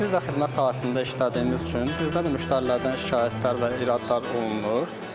Biz də xidmət sahəsində işlədiyimiz üçün bizdə də müştərilərdən şikayətlər və iradlar olunur.